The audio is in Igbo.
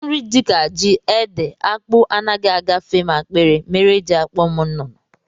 Nri ndị dịka ji, ede, akpụ, anaghị agafe m akpịrị mere e ji akpọ m nnụnụ